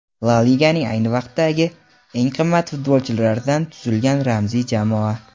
La Liganing ayni vaqtdagi eng qimmat futbolchilaridan tuzilgan ramziy jamoa.